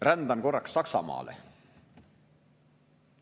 Rändan korraks Saksamaale.